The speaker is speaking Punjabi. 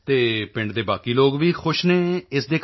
ਅਤੇ ਪਿੰਡ ਦੇ ਬਾਕੀ ਲੋਕ ਵੀ ਖੁਸ਼ ਹਨ ਇਸ ਦੇ ਕਾਰਨ